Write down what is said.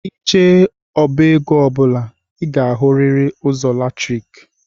i jee na- ọbá égo ọbula i ga- ahuriri ụzọ latriki